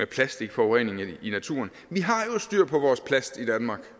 plastikforurening i naturen vi har jo styr på vores plast i danmark